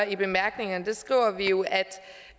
i bemærkningerne skriver vi jo at